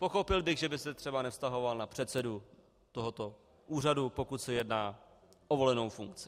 Pochopil bych, že by se třeba nevztahoval na předsedu tohoto úřadu, pokud se jedná o volenou funkci.